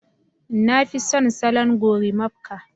Nafi son salon gorimakpa